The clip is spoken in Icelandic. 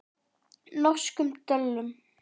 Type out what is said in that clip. Norskum döllum.